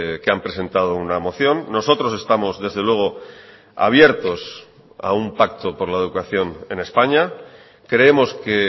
que han presentado una moción nosotros estamos desde luego abiertos a un pacto por la educación en españa creemos que